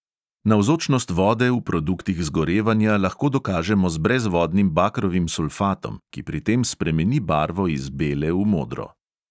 Navzočnost vode v produktih zgorevanja lahko dokažemo z brezvodnim bakrovim sulfatom, ki pri tem spremeni barvo iz bele v modro.